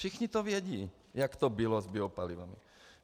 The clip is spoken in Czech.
Všichni to vědí, jak to bylo s biopalivem.